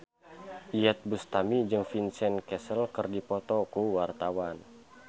Iyeth Bustami jeung Vincent Cassel keur dipoto ku wartawan